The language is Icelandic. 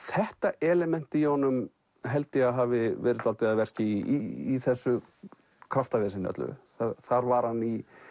þetta element í honum held ég að hafi verið dálítið að verki í þessu kraftaveseni öllu þar var hann í